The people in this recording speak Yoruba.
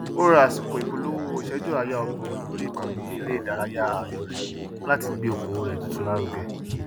ó ra àsìkò ìpolówó ìsẹjú àayá ógbọn lórí ìkànnì eré ìdárayá ààyò rẹ láti gbé okòwò rẹ tuntun lárugẹ